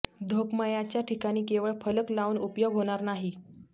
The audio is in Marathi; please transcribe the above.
धोक्मयाच्या ठिकाणी केवळ फलक लावून उपयोग होणार नाही